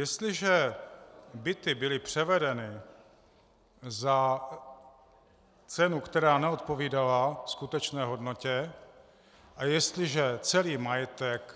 Jestliže byty byly převedeny za cenu, která neodpovídala skutečné hodnotě, a jestliže celý majetek